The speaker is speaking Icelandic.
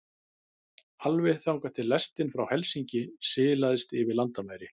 Alveg þangað til lestin frá Helsinki silaðist yfir landamæri